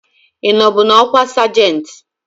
Ị nọbu n'ọkwa sajentị?